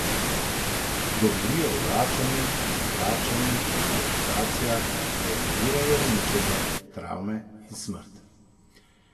Govorijo o vračanju, zavračanju in deportacijah, a ignorirajo uničenje, travme in smrt.